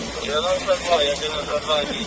Təmiz, təmiz, təmiz.